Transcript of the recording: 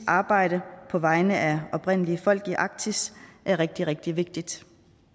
arbejde på vegne af oprindelige folk i arktis er rigtig rigtig vigtigt